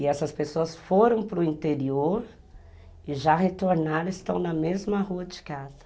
E essas pessoas foram para o interior e já retornaram e estão na mesma rua de casa.